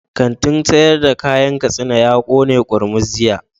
Kantin sayar da kayan katsina ya kone kurmus jiya